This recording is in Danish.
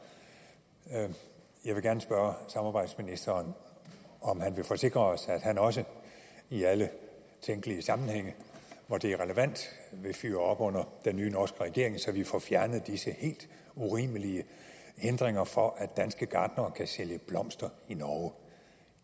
jeg vil gerne spørge samarbejdsministeren om han vil forsikre os at han også i alle tænkelige sammenhænge hvor det er relevant vil fyre op under den nye norske regering så vi får fjernet disse helt urimelige hindringer for at danske gartnere kan sælge blomster i norge